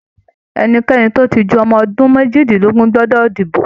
Ẹnikẹni tó ti ju ọmọ ọdún méjìdínlógún gbọdọ dibo